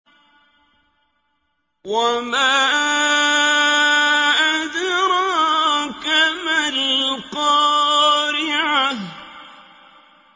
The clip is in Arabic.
وَمَا أَدْرَاكَ مَا الْقَارِعَةُ